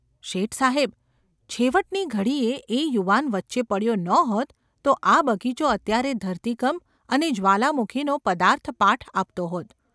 ‘શેઠ સાહેબ ! છેવટની ઘડીએ એ યુવાન વચ્ચે પડ્યો ન હોત તો આ બગીચો અત્યારે ધરતીકંપ અને જ્વાલામુખીનો પદાર્થપાઠ આપતો હોત.